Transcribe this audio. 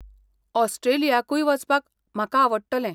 ऑस्ट्रेलियाकूय वचपाक म्हाका आवडटलें.